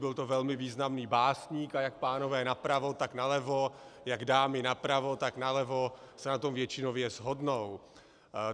Byl to velmi významný básník a jak pánové napravo, tak nalevo, jak dámy napravo, tak nalevo se na tom většinově shodnou.